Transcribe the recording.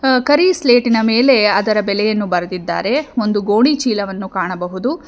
ಕರಿ ಸ್ಲೇಟಿನ ಮೇಲೆ ಅದರ ಬೆಲೆಯನ್ನು ಬರೆದಿದ್ದಾರೆ ಒಂದು ಗೋಣಿಚೀಲವನ್ನು ಕಾಣಬಹುದು.